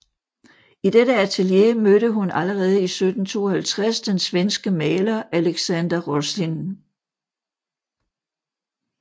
I dette atelier mødte hun allerede i 1752 den svenske maler Alexander Roslin